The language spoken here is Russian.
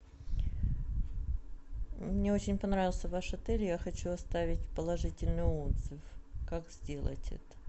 мне очень понравился ваш отель я хочу оставить положительный отзыв как сделать это